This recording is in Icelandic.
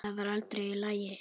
Það var allt í lagi.